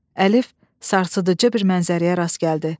Əlif sarsıdıcı bir mənzərəyə rast gəldi.